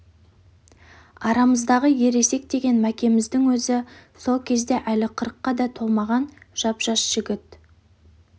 арамыздағы ересек деген мәкеміздің өзі сол кезде әлі қырыққа да толмаған жап жас жігіт